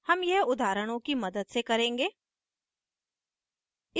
हम यह उदाहरणों की मदद से करेंगे